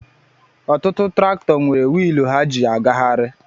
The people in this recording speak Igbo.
Ọtụtụ traktọ nwere wiilù ha ji agahari